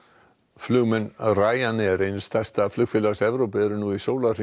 flugmenn Ryanair eins stærsta flugfélags í Evrópu eru nú í